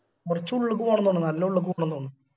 കൊർച് ഉള്ളിക്ക് പോകണം തോന്നുന്നു നല്ല ഉള്ളിക്ക് പോണം തോന്നുന്ന്